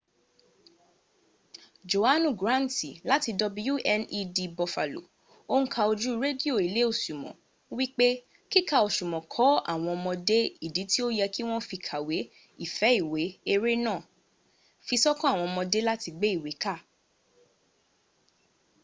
johanu granti lati wned bufalo o n ka oju redio ile osumo wipe kika osumo ko awon omode idi ti o ye ki won fi kawe,...ife iwe - [ere naa] fisokan aawon omode lati gbe iwe ka..